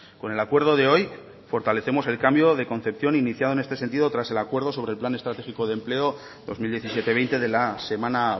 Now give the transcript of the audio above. con el acuerdo de hoy fortalecemos el cambio de concepción iniciado en este sentido tras el acuerdo sobre el plan estratégico de empleo dos mil diecisiete veinte de la semana